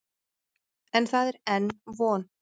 En það er enn von.